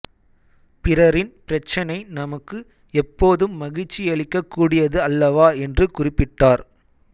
பிறரின் பிரச்சினை நமக்கு எப்போதும் மகிழ்ச்சியளிக்கக் கூடியது அல்லவா என்று குறிப்பிட்டார்